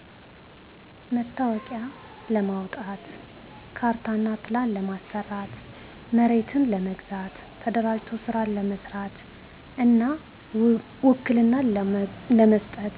መታወቂያ ለማዉጣት፣ ካርታእና ፕላን ለማሰራት፣ መሬት ለመግዛት፣ ተደራጅቶ ስራ ለመስራት እና ዉክልና ለመስጠት